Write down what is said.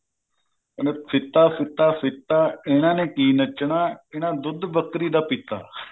ਕਹਿੰਦੇ ਫੀਤਾ ਫੀਤਾ ਫੀਤਾ ਇਹਨਾ ਨੇ ਕੀ ਨੱਚਣਾ ਇਹਨਾ ਦੁੱਧ ਬੱਕਰੀ ਦਾ ਪੀਤਾ